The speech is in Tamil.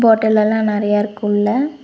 பாட்டல் எல்லா நறைய இருக்கு உள்ள.